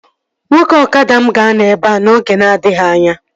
Nwoke ọkada m ga-anọ ebea n'oge na-adịghị anya